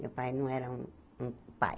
Meu pai não era um um pai.